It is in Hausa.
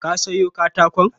Ka sayo katakon?